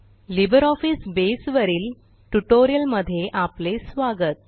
LibreOffice बसे वरील ट्युटोरियलमध्ये आपले स्वागत